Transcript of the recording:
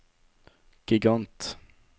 gigant